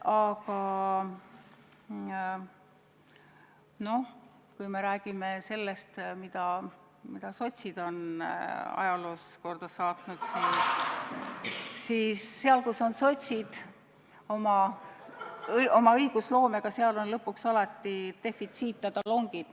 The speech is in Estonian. Aga kui me räägime sellest, mida sotsid on ajaloos korda saatnud, siis seal, kus on sotsid oma õigusloomega, on lõpuks alati defitsiit ja talongid.